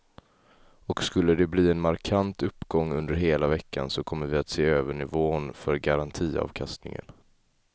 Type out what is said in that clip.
Och skulle de bli en markant uppgång under hela veckan så kommer vi att se över nivån för garantiavkastningen.